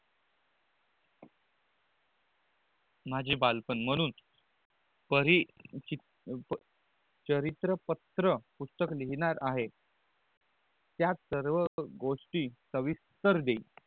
माझे बालपन महाणून परी चित प् चरित्र पत्र पुस्तक लिहनार आहे त्यात सर्व गोष्टी सविस्तर देईल